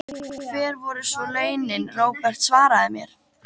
En hver voru svo launin, Róbert, svaraðu mér?